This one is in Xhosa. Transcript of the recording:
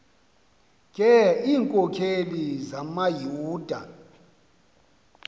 ke iinkokeli zamayuda